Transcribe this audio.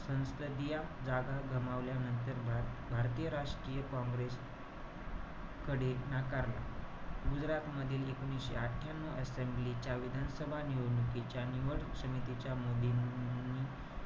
संसदीया जागा गमावल्यानंतर भर~ भारतीय राष्ट्रीय काँग्रेसकडे नाकारले. गुजरातमधील एकोणीशे अठ्ठयांन्यू asembly च्या विधान सभा निवडणुकीच्या, निवड समितीच्या, मोदींनी,